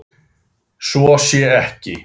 Svo sé ekki.